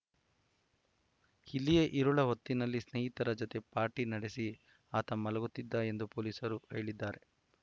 ಇಲ್ಲಿಯೇ ಇರುಳ ಹೊತ್ತಿನಲ್ಲಿ ಸ್ನೇಹಿತರ ಜತೆ ಪಾರ್ಟಿ ನಡೆಸಿ ಆತ ಮಲಗುತ್ತಿದ್ದ ಎಂದು ಪೊಲೀಸರು ಹೇಳಿದ್ದಾರೆ